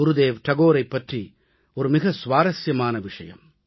குருதேவ் தாகூரைப் பற்றி மிக சுவாரசியமான விஷயம்